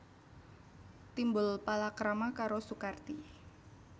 Timbul palakrama karo Sukarti